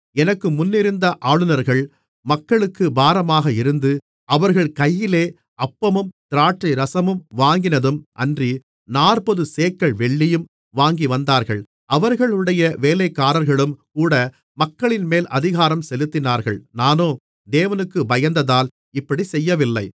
எனக்கு முன்னிருந்த ஆளுநர்கள் மக்களுக்குப் பாரமாக இருந்து அவர்கள் கையிலே அப்பமும் திராட்சைரசமும் வாங்கினதும் அன்றி நாற்பது சேக்கல் வெள்ளியும் வாங்கிவந்தார்கள் அவர்களுடைய வேலைக்காரர்களும் கூட மக்களின்மேல் அதிகாரம் செலுத்தினார்கள் நானோ தேவனுக்குப் பயந்ததால் இப்படிச் செய்யவில்லை